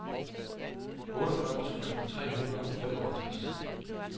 otteogfyrre tusind tre hundrede og femoghalvtreds